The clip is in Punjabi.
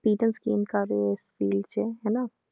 Experience gain ਕਰ ਰਹੇ ਹੋ ਇਸ field 'ਚ ਹਨਾ,